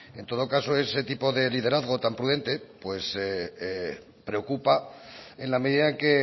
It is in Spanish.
en todo caso ese tipo de liderazgo tan prudente pues preocupa en la medida en que